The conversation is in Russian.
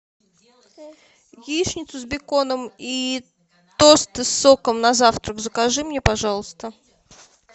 яичницу с беконом и тосты с соком на завтрак закажи мне пожалуйста